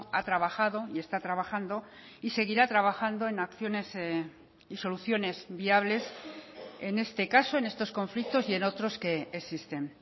ha trabajado y está trabajando y seguirá trabajando en acciones y soluciones viables en este caso en estos conflictos y en otros que existen